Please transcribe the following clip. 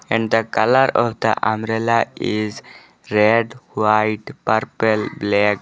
And the colour of the umbrella is red white purple black.